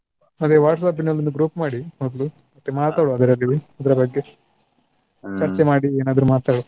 ಅದೇ WhatsApp ನಲ್ಲಿ ಒಂದು group ಮಾಡಿ ಮೊದ್ಲು. ಮತ್ತೆ ಮಾತಾಡುವ ಅದ್ರಲ್ಲಿ ಇದ್ರ ಬಗ್ಗೆ. ಮಾಡಿ ಏನಾದ್ರು ಮಾತಾಡುವ.